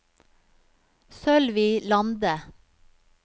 Sølvi Lande